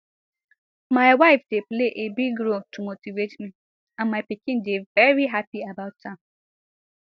my wife dey play a big role to motivate me and my pikin dey veri happy about am